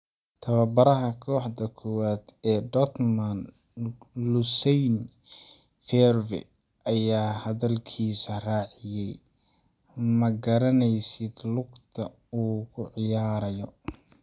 Tababaraha kooxda koowaad ee Dortmund Lucien Favre ayaa hadalkiisa raaciyay: “Ma garanaysid lugta uu ku ciyaarayo.